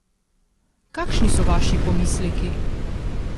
Kakšni so vaši pomisleki?